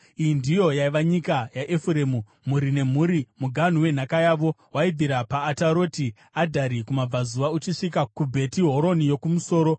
Iyi ndiyo yaiva nyika yaEfuremu, mhuri nemhuri: Muganhu wenhaka yavo waibvira paAtaroti Adhari kumabvazuva uchisvika kuBheti Horoni yoKumusoro